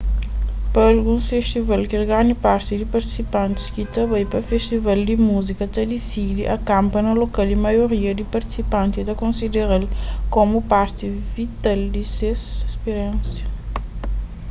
pa alguns festival kel grandi parti di partisipantis ki ta bai pa festival di múzika ta disidi akanpa na lokal y maioria di partisipanti ta konsidera-l komu parti vital di ses spiriénsia